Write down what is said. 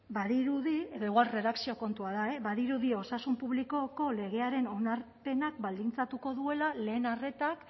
badirudi edo igual erredakzio kontua da e badirudi osasun publikoko legearen onarpenak baldintzatuko duela lehen arretak